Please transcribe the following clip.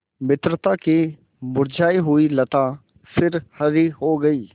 मित्रता की मुरझायी हुई लता फिर हरी हो गयी